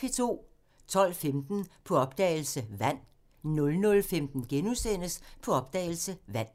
12:15: På opdagelse – Vand 00:15: På opdagelse – Vand *